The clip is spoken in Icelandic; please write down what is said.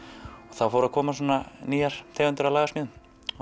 þá voru að koma nýjar tegundir af lagasmíðum